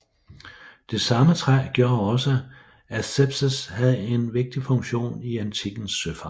Det samme træ gjorde også at Spetses havde en vigtig funktion i antikkens søfart